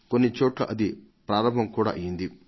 కొన్నిచోట్ల అది ప్రారంభం కూడా అయ్యింది